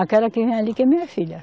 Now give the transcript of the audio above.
Aquela que vem ali que é minha filha.